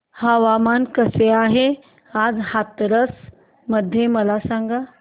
हवामान कसे आहे आज हाथरस मध्ये मला सांगा